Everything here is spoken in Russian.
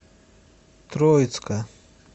троицка